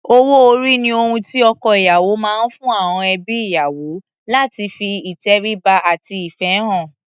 Owó-orí ni ohun tí ọkọ-ìyàwó máa ń fún àọn ẹbí ìyàwó láti fi ìtẹríba àti ìfẹ́ hàn.